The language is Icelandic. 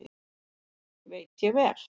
Veit ég vel.